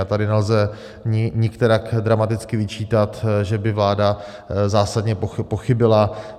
A tady nelze nikterak dramaticky vyčítat, že by vláda zásadně pochybila.